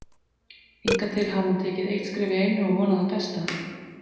Hingað til hafði hann tekið eitt skref í einu og vonað það besta.